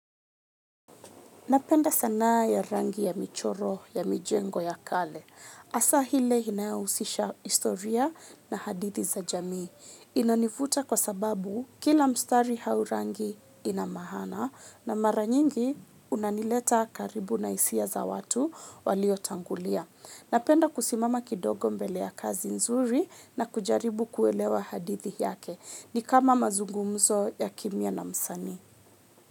Napenda sanaa ya rangi ya michoro ya mijengo ya kale. Hasa ile inayohusisha historia na hadithi za jamii. Inanivuta kwa sababu kila mstari au rangi ina maana na mara nyingi unanileta karibu na hisia za watu waliotangulia. Napenda kusimama kidogo mbele ya kazi nzuri na kujaribu kuelewa hadithi yake. Ni kama mazungumzo ya kimya na msanii.